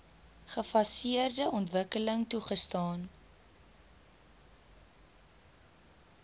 gefaseerde ontwikkeling toegestaan